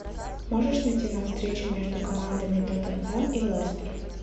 можешь найти нам встречу между командами тоттенхэм и лестер